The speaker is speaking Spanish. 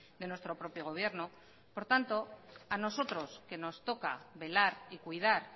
de nuestro propio gobierno por tanto a nosotros que nos toca velar y cuidar